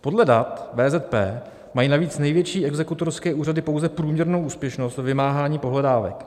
Podle dat VZP mají navíc největší exekutorské úřady pouze průměrnou úspěšnost ve vymáhání pohledávek.